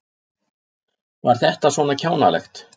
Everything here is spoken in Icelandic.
Var þetta svona kjánalegt?